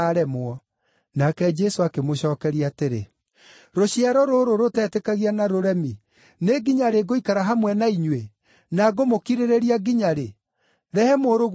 Nake Jesũ akĩmũcookeria atĩrĩ, “Rũciaro rũrũ rũtetĩkagia na rũremi, nĩ nginya rĩ ngũikara hamwe na inyuĩ, na ngũmũkirĩrĩria nginya rĩ? Rehe mũrũguo haha.”